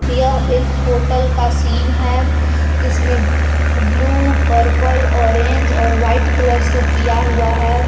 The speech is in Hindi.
यह एक होटल का सीन है जिसमें ब्लू पर्पल ऑरेंज और व्हाइट कलर से किया हुआ है।